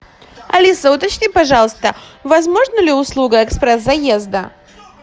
алиса уточни пожалуйста возможна ли услуга экспресс заезда